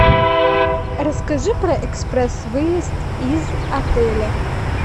расскажи про экспресс выезд из отеля